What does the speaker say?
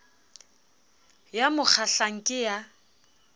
ya mo kgahlang ke ya